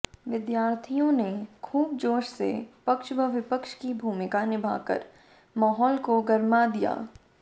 विद्यार्थियों ने खूब जोश से पक्ष व विपक्ष की भूमिका निभाकर माहौल को गरमा दिया